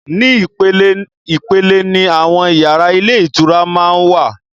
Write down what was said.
Ní ìpele ìpele ni àwọn yàrá ilé ìtura máa wà.